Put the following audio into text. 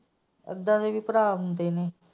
ਇਹਦਾ ਦੇ ਵੀ ਭਰਾ ਹੁੰਦੇ ਨੇ।